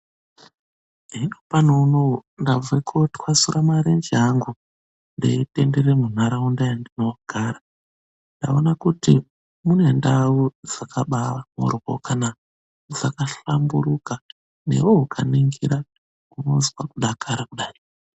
Hino pano unowu ndabve kotwasura marenje angu ndeitenderere munharaunda yandinogara ndaona kuti mune ndau dzakabaamhohryokana dzakahlamburuka. Newewo ukaningira, unozwe kudakara kudai.